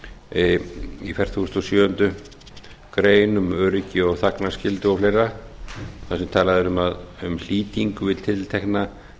segir í fertugustu og sjöundu greinar um öryggi þagnarskyldu og fleira þar sem talað er um flýting við tiltekna